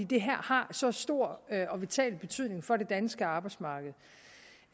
det har så stor og vital betydning for det danske arbejdsmarked